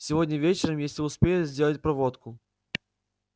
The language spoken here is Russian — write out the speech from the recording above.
сегодня вечером если успеют сделать проводку